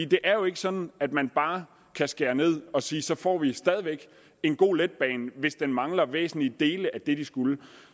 det er jo ikke sådan at man bare kan skære ned og sige at så får vi stadig væk en god letbane hvis den mangler væsentlige dele af det den skulle